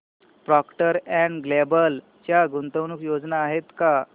Procter and Gamble च्या गुंतवणूक योजना आहेत का